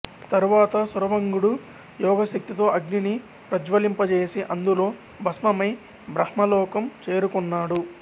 తరువాత శరభంగుడు యోగశక్తితో అగ్నిని ప్రజ్వలింపజేసి అందులో భస్మమై బ్రహ్మలోకం చేరుకొన్నాడు